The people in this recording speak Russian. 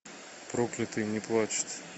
проклятые не плачут